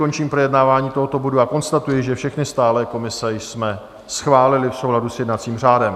Končím projednávání tohoto bodu a konstatuji, že všechny stálé komise jsme schválili v souladu s jednacím řádem.